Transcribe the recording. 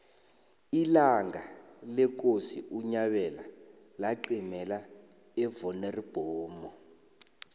ilanga lekosi unyabela laqimela evonoribnomu